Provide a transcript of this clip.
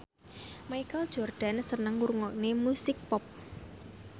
Michael Jordan seneng ngrungokne musik pop